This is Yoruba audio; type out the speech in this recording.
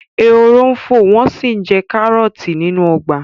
Ehoro ń fò wọ́n sì ń jẹ àwọn kárọ̀ọ̀tì nínú ọgbà